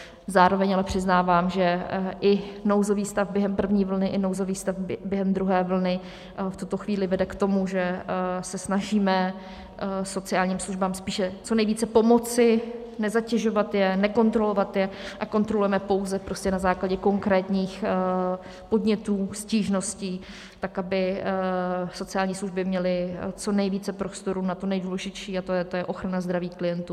Zároveň ale přiznávám, že i nouzový stav během první vlny i nouzový stav během druhé vlny v tuto chvíli vede k tomu, že se snažíme sociálním službám spíše co nejvíce pomoci, nezatěžovat je, nekontrolovat je, a kontrolujeme pouze prostě na základě konkrétních podnětů, stížností, tak aby sociální služby měly co nejvíce prostoru na to nejdůležitější, a to je ochrana zdraví klientů.